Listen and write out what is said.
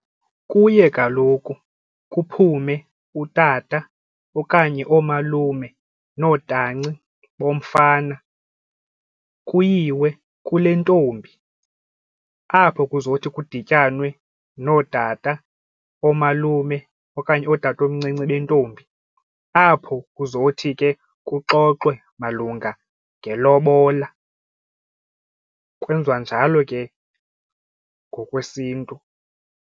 Kuye kaloku kuphume utata okanye oomalume nootanci bomfana kuyiwe kule ntombi apho kuzothi kudityanwe nootat, oomalume okanye ootatomncinci bentombi apho kuzothi ke kuxoxwe malunga ngelobola. Kwenziwa njalo ke ngokwesiNtu.